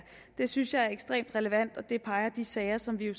det synes jeg er ekstremt relevant og det peger de sager som vi jo